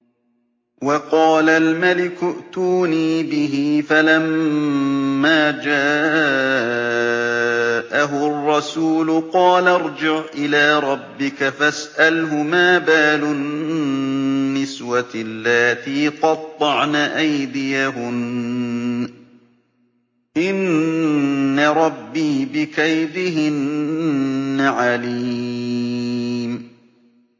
وَقَالَ الْمَلِكُ ائْتُونِي بِهِ ۖ فَلَمَّا جَاءَهُ الرَّسُولُ قَالَ ارْجِعْ إِلَىٰ رَبِّكَ فَاسْأَلْهُ مَا بَالُ النِّسْوَةِ اللَّاتِي قَطَّعْنَ أَيْدِيَهُنَّ ۚ إِنَّ رَبِّي بِكَيْدِهِنَّ عَلِيمٌ